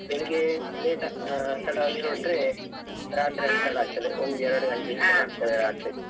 ಬೆಳಿಗ್ಗೆ late ಆ ತಡವಾಗಿ ಹೊರಟ್ರೆ, ರಾತ್ರಿ ತಡ ಆಗ್ತದೆ ಒಂದು ಎರಡು ಗಂಟೆ ಹೀಗೆಲ್ಲಾ ಆಗ್ತದೆ ರಾತ್ರಿ,